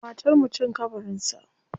Matar mutum kabarin sa.